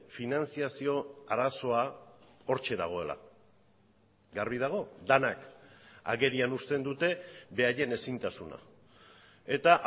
finantzazio arazoa hortxe dagoela garbi dago denak agerian uzten dute beraien ezintasuna eta